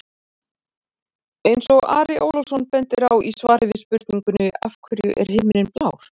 Eins og Ari Ólafsson bendir á í svari við spurningunni Af hverju er himinninn blár?